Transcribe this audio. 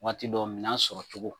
Waati dɔ minɛn sɔrɔcogo